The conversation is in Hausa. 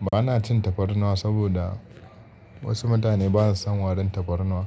Ba na cin tafarnuwa saboda wasu mutane ba su son warin tafarnuwa,